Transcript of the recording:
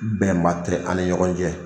Bɛnba tɛ an ni ɲɔgɔn cɛ.